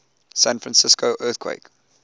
san francisco earthquake